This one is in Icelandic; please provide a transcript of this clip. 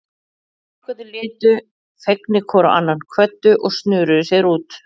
Strákarnir litu fegnir hvor á annan, kvöddu og snöruðu sér út.